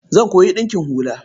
Zan koyi ɗinkin hula.